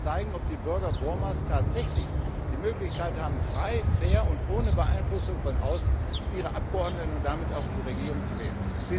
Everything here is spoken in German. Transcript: Dann wird sich zeigen, ob die Bürger Burmas tatsächlich die Möglichkeit haben, frei, fair und ohne Beeinflussung von außen ihre Abgeordneten und damit auch ihre Regierung zu wählen.